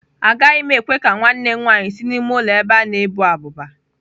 Agaghị m ekwe ka nwanne m nwanyị si n'ime ụlọ ebe a na-ebu abụba.